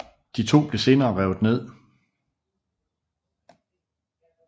De to blev senere revet ned